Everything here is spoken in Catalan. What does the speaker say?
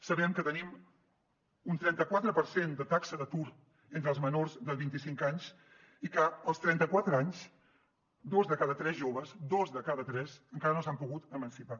sabem que tenim un trenta quatre per cent de taxa d’atur entre els menors de vint i cinc anys i que als trenta quatre anys dos de cada tres joves dos de cada tres encara no s’han pogut emancipar